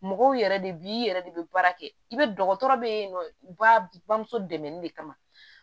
Mɔgɔw yɛrɛ de bi i yɛrɛ de be baara kɛ i be dɔgɔtɔrɔ be yen nɔ ba b bamuso dɛmɛli de kama